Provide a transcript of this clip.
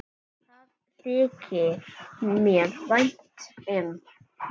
Það þykir mér vænt um.